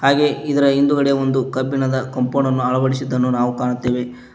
ಗೆ ಇದರ ಹಿಂದ್ಗಡೆ ಒಂದು ಕಬ್ಬಿಣದ ಕಂಪೌಂಡ್ ಅನ್ನು ಅಳವಡಿಸಿದ್ದನ್ನು ನಾವು ಕಾಣುತ್ತೆವೆ.